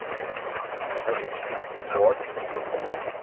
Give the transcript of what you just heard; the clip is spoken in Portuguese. A Argentina, forte. E